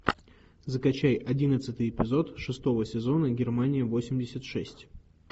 закачай одиннадцатый эпизод шестого сезона германия восемьдесят шесть